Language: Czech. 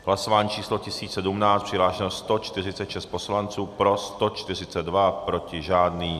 V hlasování číslo 1017 přihlášeno 146 poslanců, pro 142, proti žádný.